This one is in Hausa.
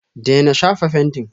daina shafa fentin!